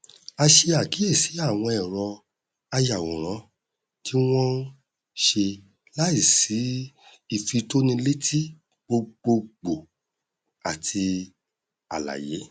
a ṣe àkíyèsi àwọn ẹrọ ayàwòrán tí wọn ṣe láì sí ìfitónilétí gbogbogbò àti àlàyé